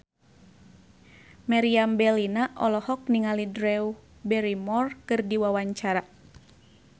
Meriam Bellina olohok ningali Drew Barrymore keur diwawancara